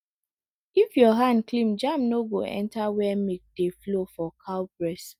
if your hand clean germ no go enter where milk dey flow for cow breast